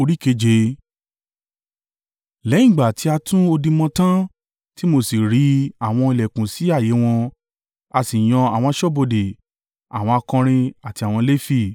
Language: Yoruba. Lẹ́yìn ìgbà tí a tún odi mọ tán tí mo sì ri àwọn ìlẹ̀kùn sí ààyè wọn, a sì yan àwọn aṣọ́bodè, àwọn akọrin àti àwọn Lefi.